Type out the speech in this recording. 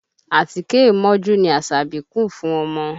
Àtíké mọ́jú ni Asabi kùn fún ọmọ.